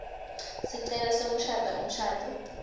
sicelo sekushada umshado